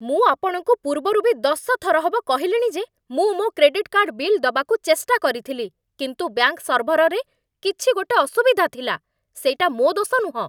ମୁଁ ଆପଣଙ୍କୁ ପୂର୍ବରୁ ବି ଦଶ ଥର ହବ କହିଲିଣି ଯେ ମୁଁ ମୋ' କ୍ରେଡିଟ୍ କାର୍ଡ଼୍ ବିଲ୍ ଦବାକୁ ଚେଷ୍ଟା କରିଥିଲି କିନ୍ତୁ ବ୍ୟାଙ୍କ୍ ସର୍ଭରରେ କିଛି ଗୋଟେ ଅସୁବିଧା ଥିଲା । ସେଇଟା ମୋ' ଦୋଷ ନୁହଁ!